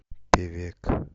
певек